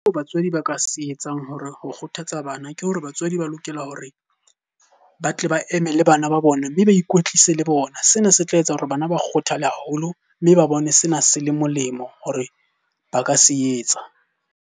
Batswadi ba ka se etsang hore ho kgothatsa bana. Ke hore batswadi ba lokela hore ba tle ba eme le bana ba bona mme ba ikwetlise le bona. Sena se tla etsa hore bana ba kgothale haholo mme ba bone sena se le molemo hore ba ka se etsa.